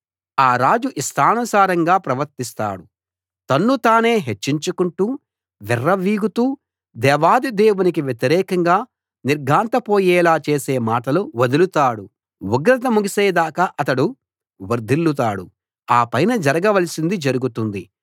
ఆ రాజు ఇష్టానుసారముగా ప్రవర్తిస్తాడు తన్ను తానే హెచ్చించుకుంటూ విర్రవీగుతూ దేవాధిదేవునికి వ్యతిరేకంగా నిర్ఘాంతపోయేలా చేసే మాటలు వదరుతాడు ఉగ్రత ముగిసే దాకా అతడు వర్ధిల్లుతాడు ఆపైన జరగవలసింది జరుగుతుంది